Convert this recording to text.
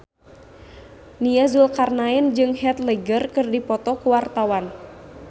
Nia Zulkarnaen jeung Heath Ledger keur dipoto ku wartawan